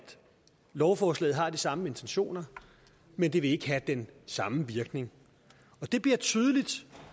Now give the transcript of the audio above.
lovforslaget har de samme intentioner men det vil ikke have den samme virkning det bliver tydeligt